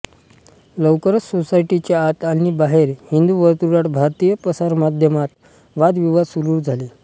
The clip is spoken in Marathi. लवकरच सोसायटीच्या आत आणि बाहेर हिंदू वर्तुळात भारतीय प्रसारमाध्यमांत वादविवाद सुरू झाले